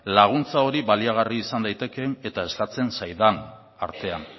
laguntza hori baliagarri izan daitekeen eta eskatzen zaidan artean